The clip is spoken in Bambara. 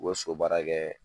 U bɛ so baara kɛ